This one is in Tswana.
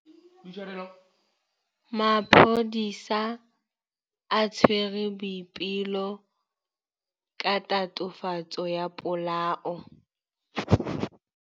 Maphodisa a tshwere Boipelo ka tatofatsô ya polaô.